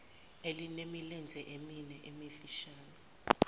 elinemilenze emine emifishane